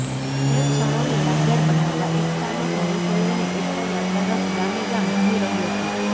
જે ક્ષણોને યાદગાર બનાવવા એકતાનો સંદેશો લઈને એકતા યાત્રા રથ ગામે ગામ ધૂમી રહ્યો છે